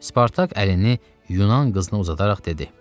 Spartak əlini Yunan qızına uzadaraq dedi: